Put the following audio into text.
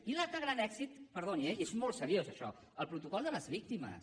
i l’altre gran èxit perdoni eh i és molt seriós això el protocol de les víctimes